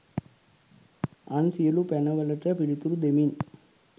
අන් සියලු පැන වලට පිළිතුරු දෙමින්